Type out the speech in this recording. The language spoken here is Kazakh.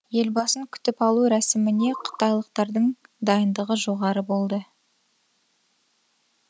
елбасын күтіп алу рәсіміне қытайлықтардың дайындығы жоғары болды